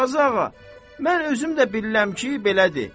Qazı ağa, mən özüm də bilirəm ki, belədir.